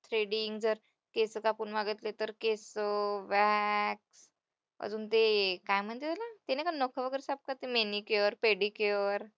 जर केस कापून मागितले तर केसं, wax अजून ते काय म्हणतात त्याला? ते नाही का नखं वगैरे साफ manicure, pedicure